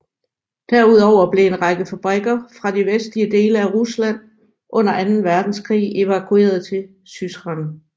Derudover blev en række fabrikker fra de vestlige dele af Rusland under anden verdenskrig evakueret til Syzran